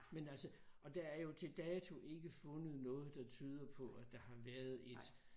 Men altså og der er jo til dato ikke fundet noget der tyder på at der har været et